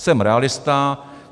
Jsem realista.